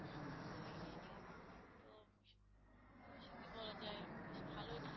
যদি কিছু বলা যাই বেশ ভালোই ঠান্ডা।